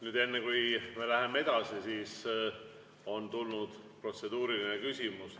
Nüüd, enne kui me läheme edasi, on tulnud protseduuriline küsimus.